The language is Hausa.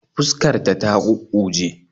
Fuskar ta ta kukkuje